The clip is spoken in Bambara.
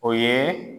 O ye